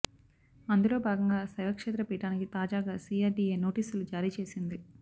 అందులో భాగంగా శైవక్షేత్ర పీఠానికి తాజాగా సీఆర్డీఏ నోటీసులు జారీ చేసింది